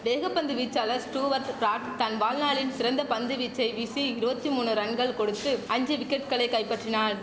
வேக பந்து வீச்சாளர் ஸ்டூவர்ட் பிராட் தன் வாழ்நாளின் சிறந்த பந்து வீச்சை வீசி இருவத்தி மூணு ரன்கள் கொடுத்து ஐந்து விக்கெட்டுகளை கைப்பற்றினார்